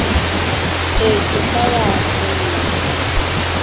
e ke ke ya senola